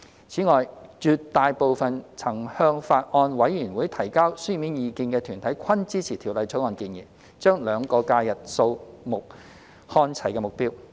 此外，絕大部分曾向法案委員會提交書面意見的團體均支持《條例草案》建議將兩個假日日數看齊的目標。